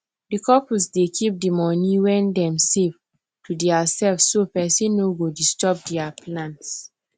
the couple dey keep the money wen them save to there selves so person nor go disturb there plans